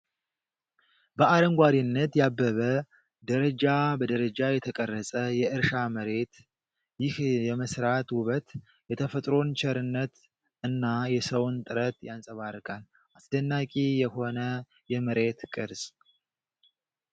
በአረንጓዴነት ያበበ፣ ደረጃ በደረጃ የተቀረጸ የእርሻ መሬት! ይህ የመስራት ውበት የተፈጥሮን ቸርነት እና የሰውን ጥረት ያንጸባርቃል። አስደናቂ የሆነ የመሬት ቅርጽ!